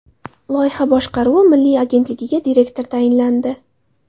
Loyiha boshqaruvi milliy agentligiga direktor tayinlandi.